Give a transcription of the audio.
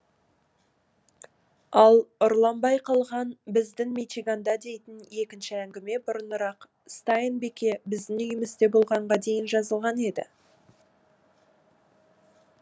ал ұрланбай қалған біздің мичиганда дейтін екінші әңгіме бұрынырақ стайн бике біздің үйімізде болғанға дейін жазылған еді